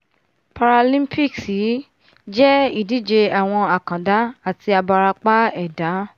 paralimpics yìí jẹ́ ìdíje àwọn àkàndá àti abarapa ẹ̀dá